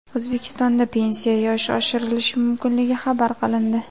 O‘zbekistonda pensiya yoshi oshirilishi mumkinligi xabar qilindi .